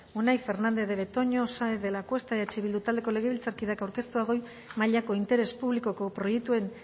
unai fernandez de betoño saenz de lacuesta eh bildu taldeko legebiltzarkideak aurkeztua goi mailako interes publikoko proiektuen